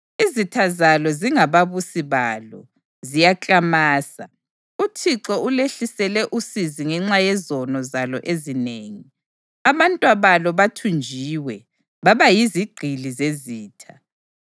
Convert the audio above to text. Izitha zalo sezingababusi balo; ziyaklamasa. UThixo ulehlisele usizi ngenxa yezono zalo ezinengi. Abantwabalo bathunjiwe, baba yizigqili zezitha.